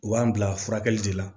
U b'an bila furakɛli de la